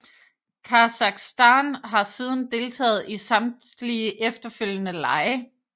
Kasakhstan har siden deltaget i samtlige efterfølgende lege